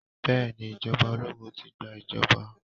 Bẹ́ẹ̀ ni ìjọba ológun ti gba ìjọba.